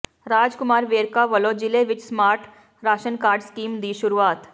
ਰਾਜ ਕੁਮਾਰ ਵੇਰਕਾ ਵੱਲੋਂ ਜਿਲੇ ਵਿਚ ਸਮਾਰਟ ਰਾਸ਼ਨ ਕਾਰਡ ਸਕੀਮ ਦੀ ਸ਼ੁਰੂਆਤ